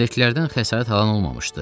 Gəmidəkilərdən xəsarət alan olmamışdı.